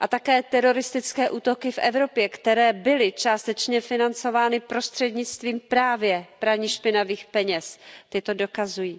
a také teroristické útoky v Evropě, které byly částečně financovány prostřednictvím právě praní špinavých peněz, to dokazují.